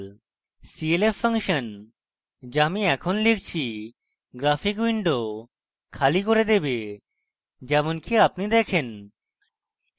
clf function the আমি এখন লিখছি graphic window খালি করে দেবে যেমনকি আপনি দেখেন